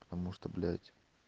потому-что блять